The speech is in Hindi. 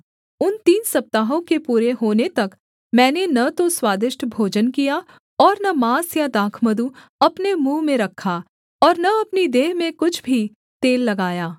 उन तीन सप्ताहों के पूरे होने तक मैंने न तो स्वादिष्ट भोजन किया और न माँस या दाखमधु अपने मुँह में रखा और न अपनी देह में कुछ भी तेल लगाया